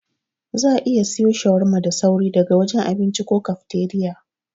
Za'a iya siwo shawarma da sauri daga wajen abinci ko kafteriya.